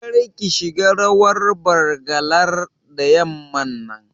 Kar ki shiga rawar Bargalar da yamman nan